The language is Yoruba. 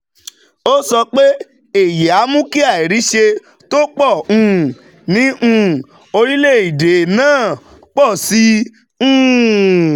Ó sọ pé èyí á mú kí àìríṣẹ́ tó pọ̀ um ní um orílẹ̀-èdè náà pọ̀ sí i. um